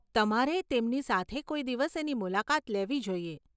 તમારે તેમની સાથે કોઈ દિવસ એની મુલાકાત લેવી જોઈએ.